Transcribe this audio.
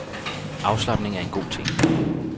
Afslapning er en god ting.